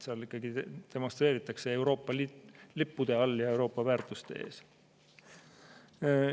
Seal ikkagi demonstreeritakse Euroopa Liidu lippude all ja Euroopa väärtuste eest.